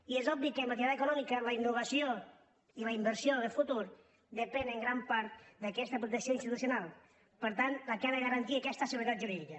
i és obvi que en l’activitat econòmica la innovació i la inversió de futur depenen en gran part d’aquesta protecció institucional per tant la que ha de garantir aquesta seguretat jurídica